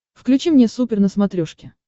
включи мне супер на смотрешке